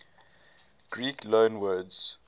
greek loanwords